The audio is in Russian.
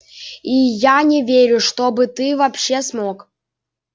и я не верю чтобы ты вообще смог